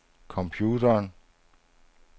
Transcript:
computeren